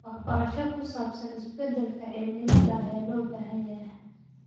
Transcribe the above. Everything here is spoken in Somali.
Waxbarasho ku saabsan isbeddelka cimilada ayaa loo baahan yahay.